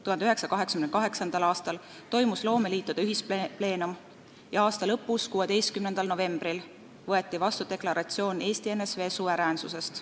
1988. aastal toimus loomeliitude ühispleenum ja aasta lõpus, 16. novembril võeti vastu deklaratsioon ENSV suveräänsusest.